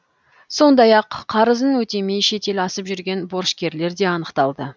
сондай ақ қарызын өтемей шетел асып жүрген борышкерлер де анықталды